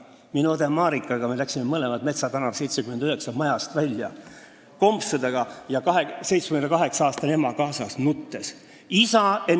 Meie läksime õde Marikaga mõlemad Metsa tänav 79 majast kompsudega välja, 78-aastane ema kaasas, ja nutsime.